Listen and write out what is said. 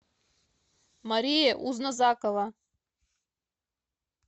мария узназакова